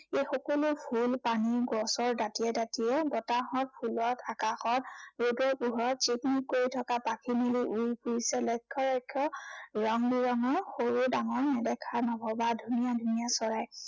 এই সকলো ফুল, পানী, গছৰ দাঁতিয়ে দাঁতিয়ে বতাহত, ফুলত, আকাশত, ৰদৰ পোহৰত জিকমিক কৰি থকা, পাখি মেলি উৰি ফুৰিছে, লক্ষ্য় লক্ষ্য় ৰং বিৰঙৰ সৰু ডাঙৰ, নেদেখা নভবা ধুনীয়া ধুনীয়া চৰাই।